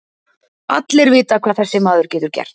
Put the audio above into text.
Allir vita hvað þessi maður getur gert.